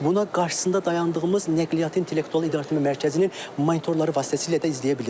Buna qarşısında dayandığımız nəqliyyatın intellektual idarəetmə mərkəzinin monitorları vasitəsilə də izləyə bilirik.